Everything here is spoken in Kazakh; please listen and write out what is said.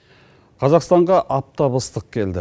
қазақстанға аптап ыстық келді